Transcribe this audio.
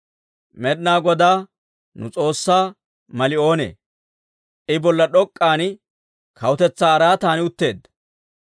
Med'inaa Godaa nu S'oossaa mali oonee? I bolla d'ok'k'an kawutetsaa araatan utteedda.